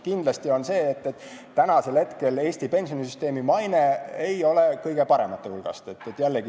Kindlasti on nii, et praegu ei ole Eesti pensionisüsteemi maine kõige parem.